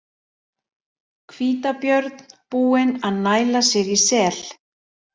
Hvítabjörn búinn að næla sér í sel.